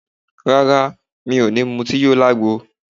Rárá, mi ò ní mutí yó lagbo